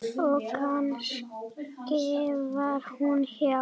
Og kannski var hún hjá